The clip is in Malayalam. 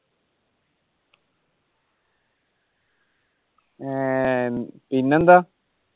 ആഹ് പിന്നെന്താ?